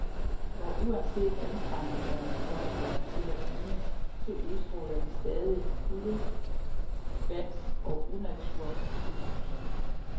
Og uanset anstrengelserne for at få dem til at ligne, så udstråler de stadig kulde, glans og unatur i et hus.